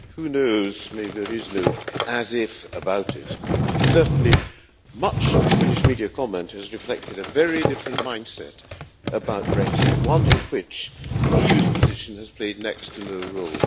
Who knows, maybe there is no as if' about it certainly, much of the British media comment has reflected a very different mindset about Brexit one in which the EU's position has played next to no role.